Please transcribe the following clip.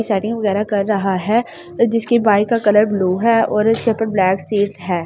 Setting वगैरह कर रहा है जिसकी बाइक का कलर ब्लू है और इसके ऊपर ब्लैक सीट है।